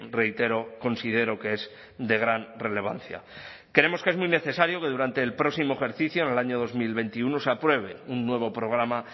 reitero considero que es de gran relevancia creemos que es muy necesario que durante el próximo ejercicio en el año dos mil veintiuno se apruebe un nuevo programa